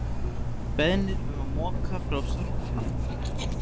Beðnir um að moka frá sorptunnum